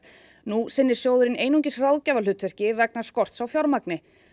nú sinnir sjóðurinn einungis ráðgjafarhlutverki vegna skorts á fjármagni